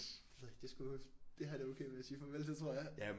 Det ved jeg ikke det er sgu det har jeg det sgu okay med at sige farvel til tror jeg